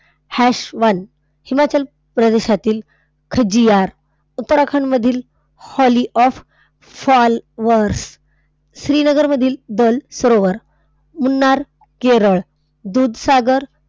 one Himachal प्रदेशातील खाज्जिअर, उत्तराखंड मधील valley of flowers, Srinagar मधील दल सरोवर, मुन्नार केरळ, दूधसागर,